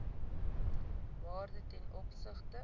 waarde ten opsigte